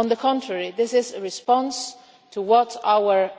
On the contrary, this is a response to what,